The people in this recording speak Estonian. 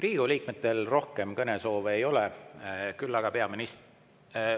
Riigikogu liikmetel rohkem kõnesoove ei ole, küll aga peaministril.